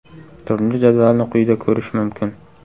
Turnir jadvalini quyida ko‘rish mumkin.